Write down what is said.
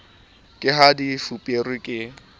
ka ha di fuperwe ke